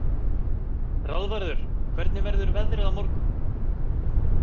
Ráðvarður, hvernig verður veðrið á morgun?